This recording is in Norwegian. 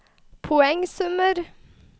poengsummer